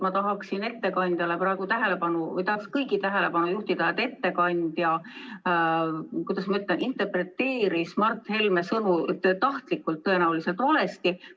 Ma tahaksin praegu ettekandja ja ka kõigi teiste tähelepanu juhtida sellele, et ettekandja interpreteeris Mart Helme sõnu tõenäoliselt tahtlikult valesti.